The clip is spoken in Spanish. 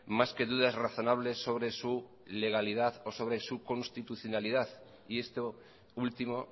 más que dudas razonables sobre su legalidad o sobre su constitucionalidad y esto último